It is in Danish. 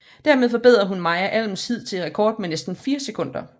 Dermed forbedrede hun Maja Alms hidtidige rekord med næsten fire sekunder